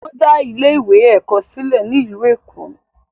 Wọn dá ilé ìwé ẹ̀kọ́ sílẹ̀ ní ìlú Èkó.